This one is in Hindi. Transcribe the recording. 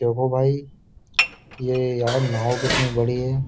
देखो भाई ये यह नाव कितनी बड़ी है।